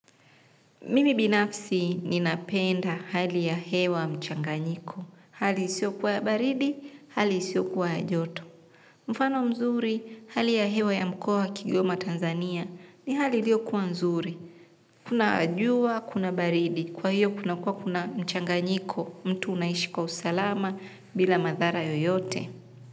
Mimi binafsi ninapenda hali ya hewa mchanganyiko. Hali isiokuwa ya baridi, hali isiokuwa ya joto. Mfano mzuri, hali ya hewa ya mkoo wa kiTanzania ni hali iliyokuwa nzuri. Kuna jua, kuna baridi, kwa hiyo kunakuwa kuna mchanganyiko, mtu unaishi kwa usalama bila madhara yoyote.